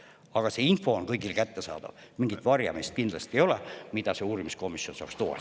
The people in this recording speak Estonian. Aga see info on kõigile kättesaadav, kindlasti ei ole mingit varjamist, mida see uurimiskomisjon saaks tuvastada.